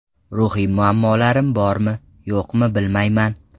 Ruhiy muammolarim bormi, yo‘qmi, bilmayman.